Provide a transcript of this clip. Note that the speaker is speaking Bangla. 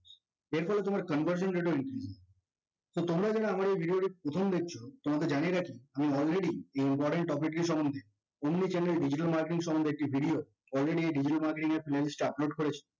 এরপর তোমার conversion rate so তোমরা যারা আমার এই video টি প্রথম দেখছো তোমাকে জানিয়ে রাখি আমি already এই important topic সম্বন্দে omni channel digital marketing সম্বন্ধে একটি video already digital marketing playlist এ upload করেছি